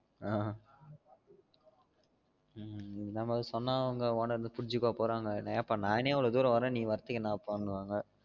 ஆஹ் நீ என்னதான் சொன்னாலும் உங்க owner என்ன புரிஞ்சிகவா போறாங்க இப்ப நானே இவ்ளோ தூரம் வாறன் நீ வரத்துக்கு ஏன்னா பா னு வாங்க